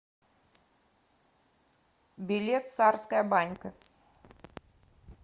билет царская банька